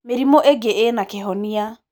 Mĩrimũ ĩngĩĩna kĩhonia.